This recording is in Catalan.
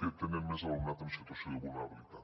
que tenen més alumnat en situació de vulnerabilitat